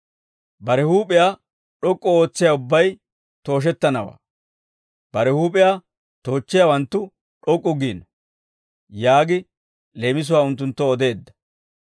Bare huup'iyaa d'ok'k'u ootsiyaa ubbay tooshettanawaa; bare huup'iyaa toochchiyaawanttu d'ok'k'u giino» yaagi leemisuwaa unttunttoo odeedda.